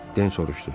Den soruşdu.